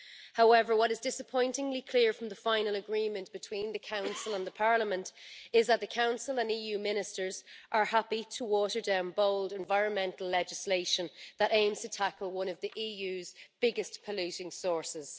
However, what is disappointingly clear from the final agreement between the Council and Parliament is that the Council and EU Ministers are happy to water down bold environmental legislation that aims to tackle one of the EU's biggest polluting sources.